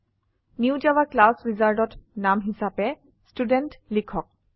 new Java class wizardত নামে হিসাবে ষ্টুডেণ্ট লিখক